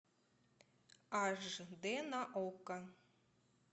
аш дэ на окко